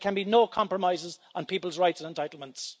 There can be no compromises on people's rights and entitlements.